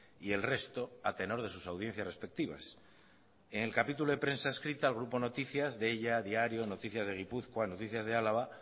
y el resto a tenor de sus audiencias respectivas en el capítulo de prensa escrito el grupo noticias deia diario noticias de gipuzkoa noticias de álava